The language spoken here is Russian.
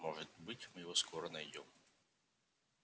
может быть мы его скоро найдём